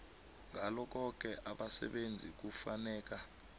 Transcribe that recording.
ngalokhoke abasebenzi kufuneka